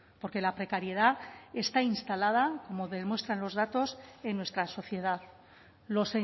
porque la precariedad está instalada como demuestran los datos en nuestra sociedad lo